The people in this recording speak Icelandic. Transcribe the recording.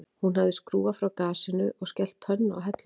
Hún hafði skrúfað frá gasinu og skellt pönnu á helluna